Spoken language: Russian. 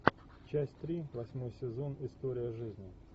часть три восьмой сезон история жизни